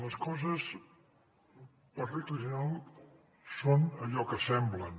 les coses per regla general són allò que semblen